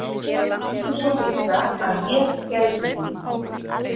Mundu svo líka að ég gæti þín.